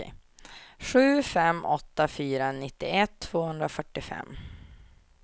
sju fem åtta fyra nittioett tvåhundrafyrtiofem